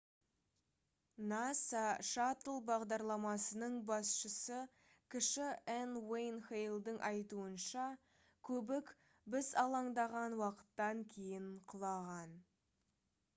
nasa шаттл бағдарламасының басшысы кіші н уэйн хейлдің айтуынша көбік біз алаңдаған уақыттан кейін құлаған